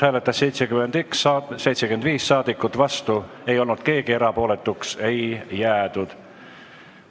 Hääletustulemused Eelnõu poolt hääletas 75 saadikut, vastu ei olnud keegi, erapooletuks ei jäädud.